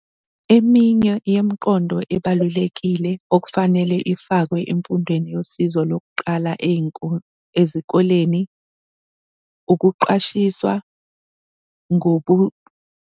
Eminye yemiqondo ebalulekile okufanele ifakwe emfundweni yosizo lokuqala ezikoleni ukuqashiswa .